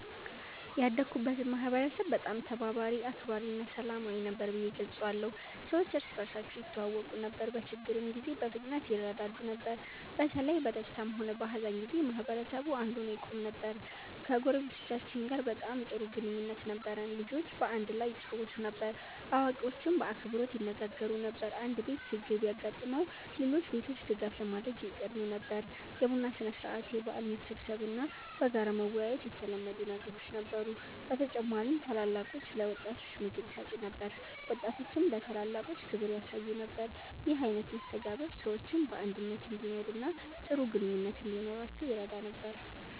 ያደግኩበትን ማህበረሰብ በጣም ተባባሪ፣ አክባሪ እና ሰላማዊ ነበር ብዬ እገልጸዋለሁ። ሰዎች እርስ በርሳቸው ይተዋወቁ ነበር፣ በችግር ጊዜም በፍጥነት ይረዳዱ ነበር። በተለይ በደስታም ሆነ በሀዘን ጊዜ ማህበረሰቡ አንድ ሆኖ ይቆም ነበር። ከጎረቤቶቻችን ጋር በጣም ጥሩ ግንኙነት ነበረን። ልጆች በአንድ ላይ ይጫወቱ ነበር፣ አዋቂዎችም በአክብሮት ይነጋገሩ ነበር። አንድ ቤት ችግር ቢያጋጥመው ሌሎች ቤቶች ድጋፍ ለማድረግ ይቀድሙ ነበር። የቡና ሥነ-ሥርዓት፣ የበዓል መሰብሰብ እና በጋራ መወያየት የተለመዱ ነገሮች ነበሩ። በተጨማሪም ታላላቆች ለወጣቶች ምክር ይሰጡ ነበር፣ ወጣቶችም ለታላላቆች ክብር ያሳዩ ነበር። ይህ አይነት መስተጋብር ሰዎች በአንድነት እንዲኖሩ እና ጥሩ ግንኙነት እንዲኖራቸው ይረዳ ነበር።